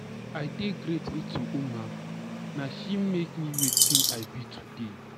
I dey grateful to Nma. Na she make me wetin I be today.